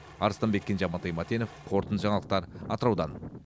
арыстанбек кенже амантай мәтенов қорытынды жаңалықтар атыраудан